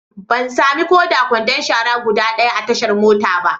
Ban sami ko da kwandon shara guda ɗaya a tashar motan ba.